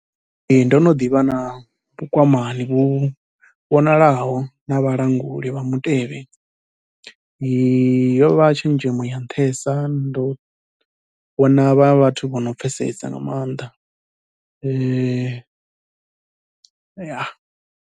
Ee ndo no ḓivha na vhukwamani vhu vhonalaho na vhalanguli vha mutevhe, yo vha tshenzhemo ya nṱhesa ndo vhona vha vhathu vho no pfhesesa nga maanḓa ya.